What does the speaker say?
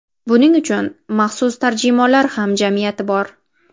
Buning uchun maxsus tarjimonlar hamjamiyati bor.